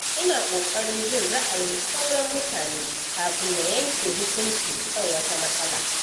Ina kokarin jin ra’ayin sauran mutane kafin na yanke hukunci kan wata matsala.